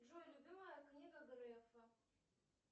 джой любимая книга грефа